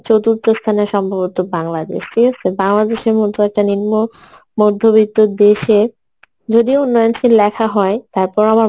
চতুর্থ স্থানে সম্ভবত বাংলাদেশ ঠিক আসে বাংলাদেশের মতো একটা নিম্ন মধবিত্ত্য দেশের যদিও উন্নননশীল লেখা হয় তারপর আমার